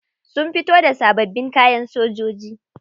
Sun fito da sabbabin kayan sojoji.